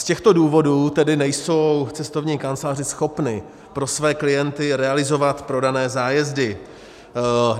Z těchto důvodů tedy nejsou cestovní kanceláře schopny pro své klienty realizovat prodané zájezdy.